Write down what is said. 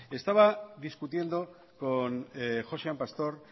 estaba discutiendo con josean pastor